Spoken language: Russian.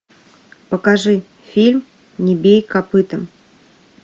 покажи фильм не бей копытом